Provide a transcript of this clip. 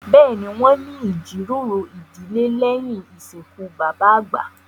Bẹ́ẹ̀ni, wọn ní ìjíròrò ìdílé lèyín ìsìnkú bàbà àgbà